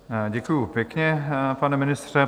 Děkuji pěkně, pane ministře.